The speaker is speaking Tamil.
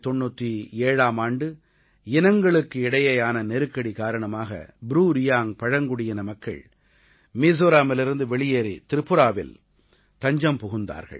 1997ஆம் ஆண்டு இனங்களுக்கு இடையேயான நெருக்கடி காரணமாக ப்ரூ ரியாங்க் பழங்குடியின மக்கள் மீஸோரமிலிருந்து வெளியேறி திரிபுராவில் தஞ்சம் புகுந்தனர்